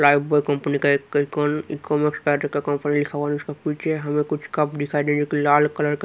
life boy company का एक हमें कुछ कप दिखाई दे जोकि लाल कलर का--